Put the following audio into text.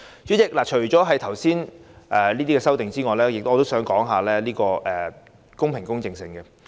主席，除了上述修訂外，我想談談選舉的公平公正性。